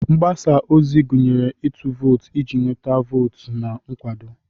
Mgbasa ozi gụnyere ịtụ vootu iji nweta votu na nkwado.